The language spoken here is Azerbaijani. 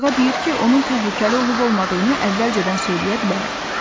Qarğa deyir ki, onun təhlükəli olub-olmadığını əvvəlcədən söyləyə bilərəm.